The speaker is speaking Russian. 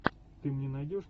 ты мне найдешь